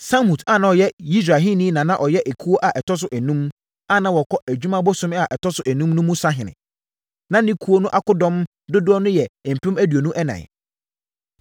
Samhut a ɔyɛ Yisrahini na na ɔyɛ ekuo a ɛtɔ so enum, a na wɔkɔ adwuma bosome a ɛtɔ so enum mu no so sahene. Na ne ekuo no akodɔm dodoɔ yɛ mpem aduonu ɛnan (24,000).